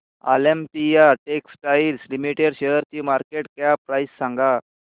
Olympia textiles limited शेअरची market cap price सांगा